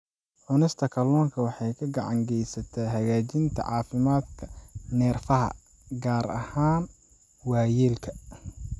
Cunista kalluunka waxay gacan ka geysataa hagaajinta caafimaadka neerfaha, gaar ahaan waayeelka.